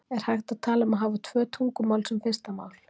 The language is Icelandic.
er hægt að tala um að hafa tvö tungumál sem fyrsta mál